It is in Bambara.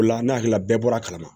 O la ne hakili la bɛɛ bɔra a kalama